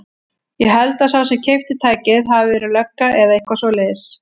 Ég held að sá sem keypti tækið hafi verið lögga eða eitthvað svoleiðis.